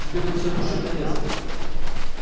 тебе бы все душить да резать